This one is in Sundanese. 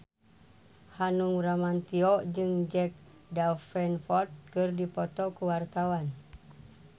Hanung Bramantyo jeung Jack Davenport keur dipoto ku wartawan